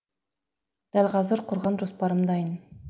дәл қазір құрған жоспарым дайын